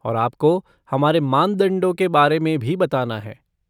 और आपको हमारे मानदंडों के बारे में भी बताना है।